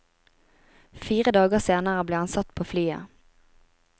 Fire dager senere ble han satt på flyet.